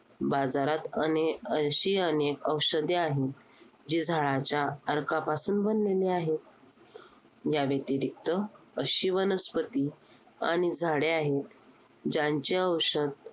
बाजारात अनेअशी अनेक औषधे आहेत, जी झाडांच्या अर्कापासून बनलेली आहेत. या व्यतिरिक्त अशी वनस्पती आणि झाडे आहेत, ज्यांचे औषध